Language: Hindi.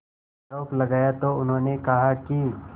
आरोप लगाया तो उन्होंने कहा कि